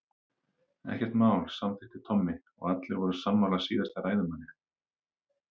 Ekkert mál samþykkti Tommi og allir voru sammála síðasta ræðumanni.